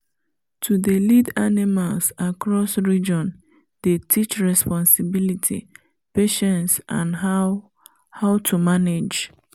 to dey lead animals across region dey teach responsibility patience and how how to manage